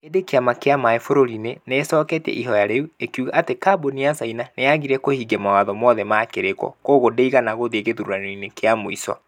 Ĩndĩ kĩama kia maĩĩ bururi-inĩ nĩ ĩcoketie ihoya rĩu. ĩkiuga atĩ kambuni ya caina nĩ yaagire kũhingia mawatho mothe ma kĩrĩĩko. Kwoguo ndĩigana gũthiĩ gĩthurano-inĩ kĩa mũico.